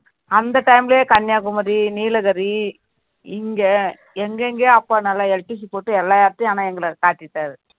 அந்த time லயே கன்னியாகுமரி, நீலகிரி, இங்க எங்கெங்கேயோ அப்பா நல்லா போட்டு எல்லா இடத்திலேயும் ஆனா எங்கள காட்டிட்டாரு